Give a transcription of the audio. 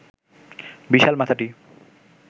বিশাল মাথাটি